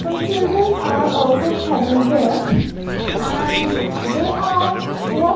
some childrens are also present here and they are--